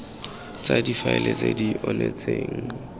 tsa difaele tse di onetseng